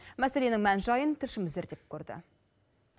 мәселенің мән жайын тілшіміз зерттеп көрді